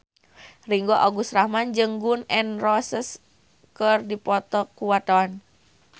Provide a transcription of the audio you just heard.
Ringgo Agus Rahman jeung Gun N Roses keur dipoto ku wartawan